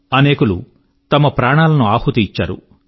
అనేకులు తమ ప్రాణాలను ఆహుతి ఇచ్చారు